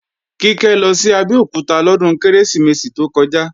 Kíkẹ́ lọ sí Abẹ́òkúta lọ́dún Kérésìmesì tó kọjá